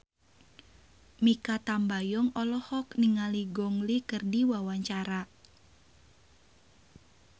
Mikha Tambayong olohok ningali Gong Li keur diwawancara